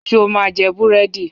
Ṣo ma jẹ búrẹ́dì?